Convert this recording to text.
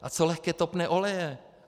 A co lehké topné oleje?